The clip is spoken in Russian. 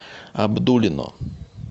абдулино